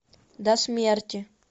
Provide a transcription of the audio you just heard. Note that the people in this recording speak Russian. до смерти